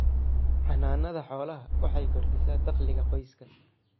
Xanaanada xoolaha waxay kordhisaa dakhliga qoyska.